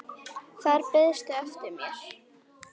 Þar beiðstu eftir mér.